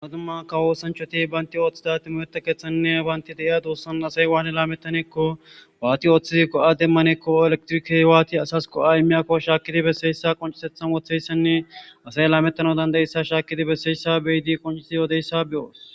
Umadumma ka woosanchoti baynti ooththida timoeta keethanne waanti deiya duussan asay waane laamettanekko waati ooththizi go7a demmanekko elektrikey waati asas ko7a imiyakko shaakidi besseyssa qoncisethan wotheyssanne asay laamettano dandayissa shaakidi besseyssa beyidi qoncisi yoodeyssa be7oos.